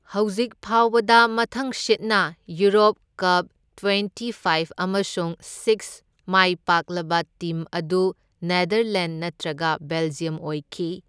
ꯍꯧꯖꯤꯛ ꯐꯥꯎꯕꯗ, ꯃꯊꯪꯁꯤꯠꯅ ꯌꯨꯔꯣꯞ ꯀꯞ ꯇ꯭ꯋꯦꯟꯇꯤ ꯐꯥꯢꯚ ꯑꯃꯁꯨꯡ ꯁꯤꯛꯁ ꯃꯥꯏꯄꯥꯛꯂꯕ ꯇꯤꯝ ꯑꯗꯨ ꯅꯦꯗꯔꯂꯦꯟꯗ ꯅꯠꯇ꯭ꯔꯒ ꯕꯦꯜꯖꯤꯌꯝ ꯑꯣꯏꯈꯤ꯫